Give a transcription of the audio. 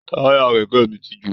Taya kẹkẹ mí tí jo